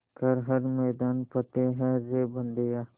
कर हर मैदान फ़तेह रे बंदेया